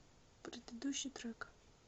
предыдущий трек